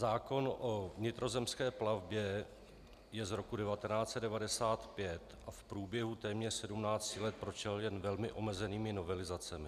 Zákon o vnitrozemské plavbě je z roku 1995 a v průběhu téměř sedmnácti let prošel jen velmi omezenými novelizacemi.